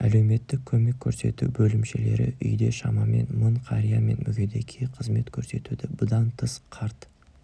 әлеуметтік көмек көрсету бөлімшелері үйде шамамен мың қария мен мүгедекке қызмет көрсетуде бұдан тыс қарт